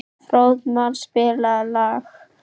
Fróðmar, spilaðu lag.